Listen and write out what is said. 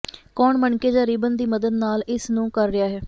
ਕੌਣ ਮਣਕੇ ਜ ਰਿਬਨ ਦੀ ਮਦਦ ਨਾਲ ਇਸ ਨੂੰ ਕਰ ਰਿਹਾ ਹੈ